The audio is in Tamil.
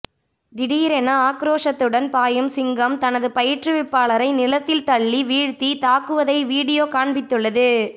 திடீர் என ஆக்ரோசத்துடன் பாயும் சிங்கம் தனது பயிற்றுவிப்பாளரை நிலத்தில் தள்ளிவீழ்த்தி தாக்குவதை வீடியோ காண்பித்துள்ளது